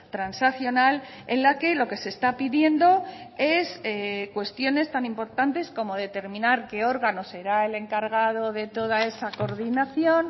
transaccional en la que lo que se está pidiendo es cuestiones tan importantes como determinar qué órganos será el encargado de toda esa coordinación